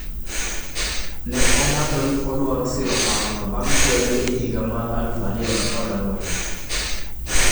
Ne olando ni odwaro siro parono bang' kwede e higa mar 2014.